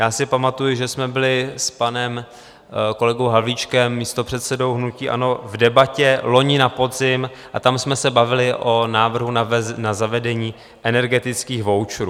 Já si pamatuji, že jsme byli s panem kolegou Havlíčkem, místopředsedou hnutí ANO, v Debatě loni na podzim a tam jsme se bavili o návrhu na zavedení energetických voucherů.